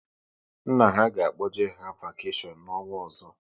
Nna ha ga-akpoje ha vakeshion n'ọnwa ọzọ